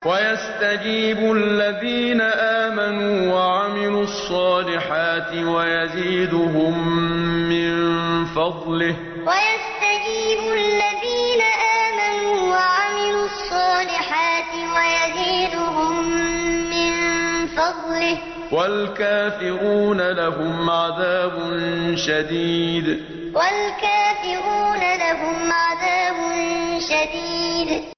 وَيَسْتَجِيبُ الَّذِينَ آمَنُوا وَعَمِلُوا الصَّالِحَاتِ وَيَزِيدُهُم مِّن فَضْلِهِ ۚ وَالْكَافِرُونَ لَهُمْ عَذَابٌ شَدِيدٌ وَيَسْتَجِيبُ الَّذِينَ آمَنُوا وَعَمِلُوا الصَّالِحَاتِ وَيَزِيدُهُم مِّن فَضْلِهِ ۚ وَالْكَافِرُونَ لَهُمْ عَذَابٌ شَدِيدٌ